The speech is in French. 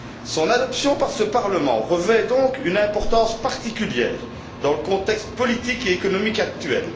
Son adoption par ce Parlement revêt donc une importance particulière dans le contexte politique et économique actuel.